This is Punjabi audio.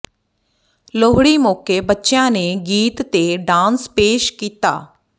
ਲੋਹੜੀ ਮੌਕੇ ਬੱਚਿਆਂ ਨੇ ਗੀਤ ਤੇ ਡਾਂਸ ਪੇਸ਼ ਕੀਤਾ